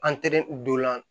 An teri donla